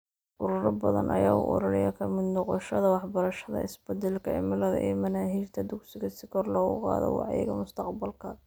Ururo badan ayaa u ololeeya ka mid noqoshada waxbarashada isbeddelka cimilada ee manaahijta dugsiga si kor loogu qaado wacyiga mustaqbalka.